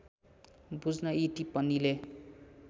बुझ्न यी टिप्पणीले